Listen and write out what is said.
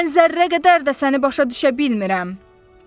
Mən zərrə qədər də səni başa düşə bilmirəm.